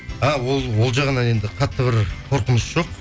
а ол жағынан енді қатты бір қорқыныш жоқ